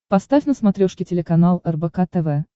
поставь на смотрешке телеканал рбк тв